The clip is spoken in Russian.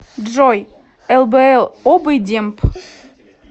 джой лбл обый демб